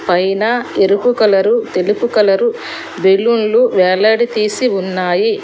పైన ఎరుపు కలరు తెలుపు కలరు బెలూన్లు వెల్లడి తీసి ఉన్నాయి.